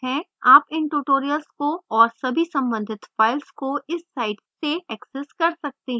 आप इन tutorials को और सभी सम्बंधित files को इस site से access कर सकते हैं